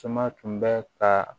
Tuma tun bɛ ka